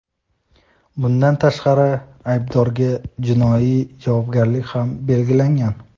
bundan tashqari aybdorga jinoiy javobgarlik ham belgilangan.